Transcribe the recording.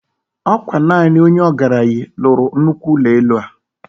Okwa naani Onye ogaranyi lulu Nnukwu ulo elu a